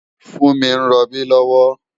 Funmi n ròbí lòwò